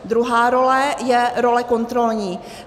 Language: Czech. Druhá role je role kontrolní.